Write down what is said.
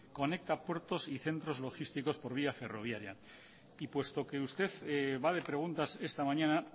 conecta puertos y centros logísticos por vía ferroviaria y puesto que usted va de preguntas esta mañana